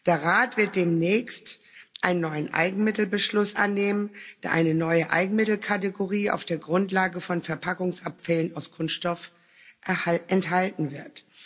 Der Rat wird demnächst einen neuen Eigenmittelbeschluss annehmen, der eine neue Eigenmittelkategorie auf der Grundlage von Verpackungsabfällen aus Kunststoff enthalten wird.